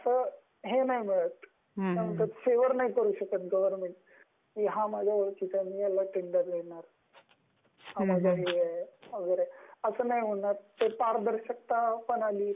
अस हे नाही मिलात म्हणजे फेवर नाही करू शकत गवर्नमेंट, की हा माझ्या ओळखीचा आहे मी याला टेंडर देणार, अस नाही होणार एक पारदर्शकता पण आली